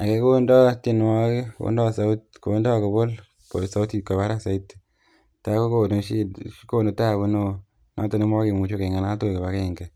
Ake kondoo tienwogik kondoo saut kondoo kobol sautit kwo barak soiti tai konu shida konu tabu neoo noton nemokemuche keng'alal tugul kibagenge